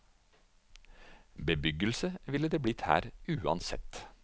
Bebyggelse ville det blitt her uansett.